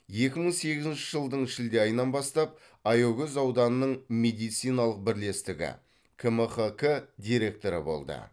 екі мың сегізінші жылдың шілде айынан бастап аягөз ауданының медициналық бірлестігі кмқк директоры болды